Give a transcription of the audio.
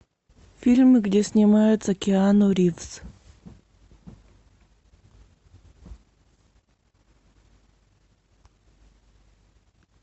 фильмы где снимается киану ривз